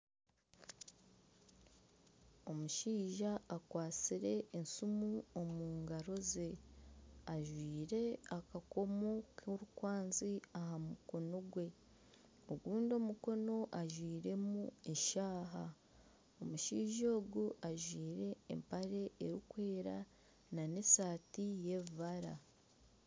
Omushaija akwatsire esimu omu ngaro ze, ajwire akakomo k'orukwanzi aha mukono gwe, ogundi omukono ajwiremu eshaaha, omushaija ogu ajwire empare erikwera nana eshati y'ebibara